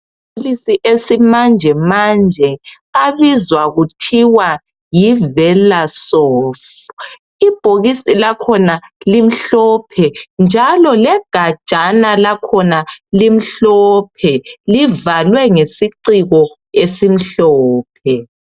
Amaphilisi esimanje manje abizwa kuthiwa yiVelasof ibhokisi lakhona limhlophe njalo legajana lakhona limhlophe livalwe ngesiciko esimhlophe.